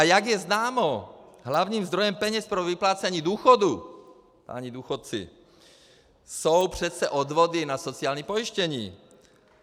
A jak je známo, hlavním zdrojem peněz pro vyplácení důchodů, páni důchodci, jsou přece odvody na sociální pojištění.